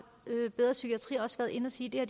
bedre psykiatri også været inde at sige at